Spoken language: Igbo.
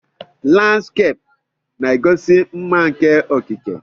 Landskeepụ na-egosi mma nke okike.